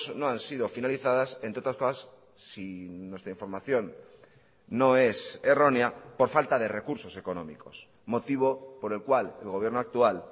no han sido finalizadas entre otras cosas si nuestra información no es errónea por falta de recursos económicos motivo por el cual el gobierno actual